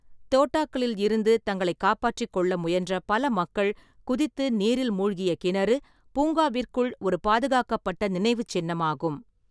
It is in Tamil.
தோட்டாக்களில் இருந்து தங்களைக் காப்பாற்றிக் கொள்ள முயன்ற பல மக்கள் குதித்து நீரில் மூழ்கிய கிணறு, பூங்காவிற்குள் ஒரு பாதுகாக்கப்பட்ட நினைவுச்சின்னமாகும்.